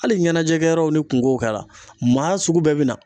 Hali ɲɛnajɛkɛyɔrɔw ni kungo kɛra, maa sugu bɛɛ be na.